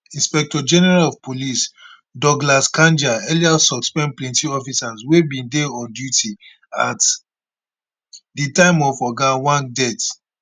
inspectorgeneral of police douglas kanja earlier suspend plenty officers wey bin dey on duty at di time of oga ojwang death